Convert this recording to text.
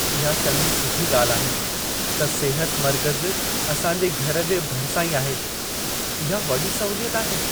इहा चङी सुठी ॻाल्हि आहे त सिहत मर्कज़ असां जे घर जे भरिसां ई आहे। इहा वॾी सहूलियत आहे।